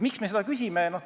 Miks me seda küsime?